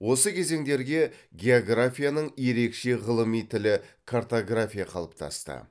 осы кезеңдерге географияның ерекше ғылыми тілі картография қалыптасты